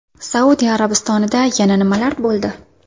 Saudiya Arabistonida yana nimalar bo‘ldi?